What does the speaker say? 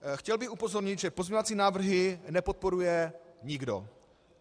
Chtěl bych upozornit, že pozměňovací návrhy nepodporuje nikdo.